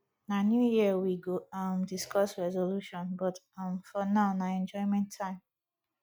na new year we go um discuss resolution but um for now na enjoyment time